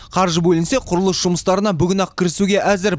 қаржы бөлінсе құрылыс жұмыстарына бүгін ақ кірісуге әзір